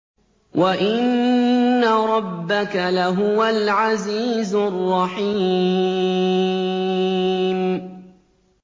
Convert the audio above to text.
وَإِنَّ رَبَّكَ لَهُوَ الْعَزِيزُ الرَّحِيمُ